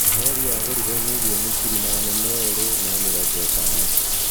rori yagũrirwo mirioni ngiri magana meerĩ ma mĩrongo ĩtano